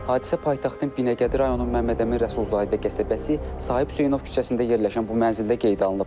Hadisə paytaxtın Binəqədi rayonunun Məmmədəmin Rəsulzadə qəsəbəsi, Sahib Hüseynov küçəsində yerləşən bu mənzildə qeydə alınıb.